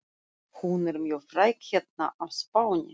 Hún er mjög fræg hérna á Spáni.